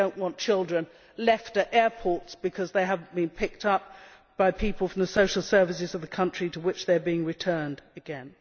We do not want children left at airports because they have not been picked up by people from the social services of the country to which they are being returned again.